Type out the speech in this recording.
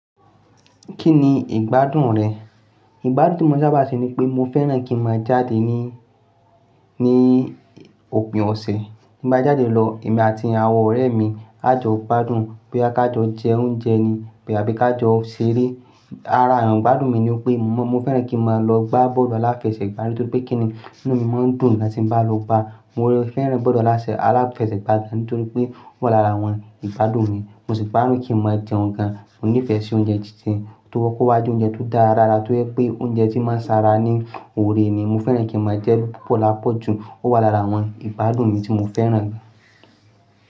Kí ni ìgbádùn rẹ? Ìgbádùn tí mo sábà ṣe ni pé mo fẹ́ràn kí n máa jáde ní, ní òpin ọ̀sẹ̀. Bí mo bá jáde lọ, èmi àti àwọn ọ̀rẹ́ mi a jọ gbádùn bóyá ká jọ jẹ oúnjẹ ni, bóyá bí ká jọ ṣeré. Ará àwọn ìgbádùn mi ni pé mo fẹ́ràn kí n máa lọ gbá bọ́ọ̀lù aláfẹsẹ̀gbá nítorí pé kìní inú mi máa ń dùn nígbà tí mo bá lọ gbá. Mo fẹ́ràn bọ́ọ̀lù aláfẹsẹ̀gbà nítorí pé ó wà lára àwọn ìgbádùn mi. Mo sì gbádùn kí n máa n jẹun gàn. Mo nífẹ̀ẹ́ sí oúnjẹ titun tó kó wá je oúnjẹ tó dára dáda tó jé oúnjẹ tí máa ń sanra ní oore ni. Mo fẹ́ràn kí n máa jẹ pọ́ọ̀pọ̀ lápọ̀jù. Ó wà lára àwọn ìgbádùn mi tí mo fẹ́ràn gan.